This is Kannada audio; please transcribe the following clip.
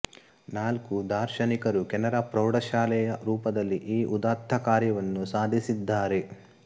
ನಾಲ್ಕು ದಾರ್ಶನಿಕರು ಕೆನರಾ ಪ್ರೌಢ ಶಾಲೆಯ ರೂಪದಲ್ಲಿ ಈ ಉದಾತ್ತ ಕಾರ್ಯವನ್ನು ಸಾಧಿಸಿದ್ದಾರೆ